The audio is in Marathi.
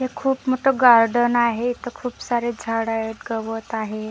एक खूप मोठं गार्डन आहे इथं खूप सारे झाडं आहेत गवत आहे.